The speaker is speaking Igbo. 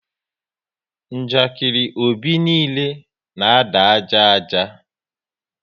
Njakiri Obi niile na ada ájá ájá